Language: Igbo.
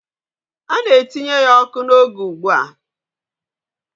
A na-etinye ya ọkụ n'oge ugbu a.